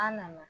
An nana